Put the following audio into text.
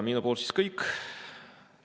Minu poolt kõik.